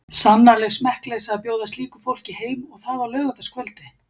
Sannarleg smekkleysa að bjóða slíku fólki heim og það á laugardagskvöldi.